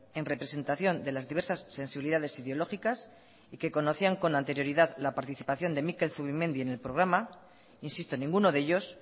en representación de las diversas sensibilidades ideológicas y que conocían con anterioridad la participación de mikel zubimendi en el programa insisto ninguno de ellos